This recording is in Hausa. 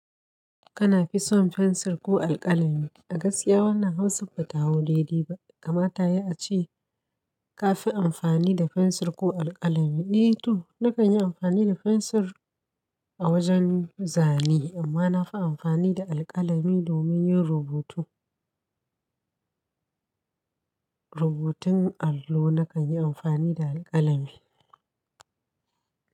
Kana fi son fensir ko alkalami? A gaskiya wannan hausa bata hau daidai ba, gama tayi ace ka fi amfani da fensir ko alkalami. Ni to, nakan yi amfani da fensir a wajen zane amma nafi amfani da alkalami domin yin rubutu. Rubutun allo nakan yi amfani da alkalami.